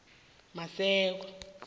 maseko